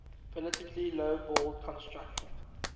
politically lowballed construction